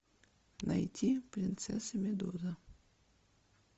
найти принцесса медуза